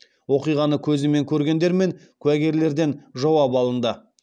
оқиғаны көзімен көргендер мен куәгерлерден жауап алынды